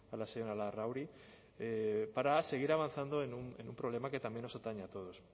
la señora larrauri para seguir avanzando en un problema que también nos atañe a todos